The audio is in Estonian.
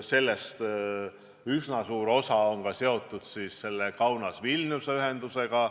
Sellest üsna suur osa on seotud ka selle Kaunase–Vilniuse ühendusega.